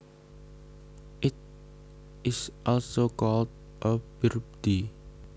It is also called a birdie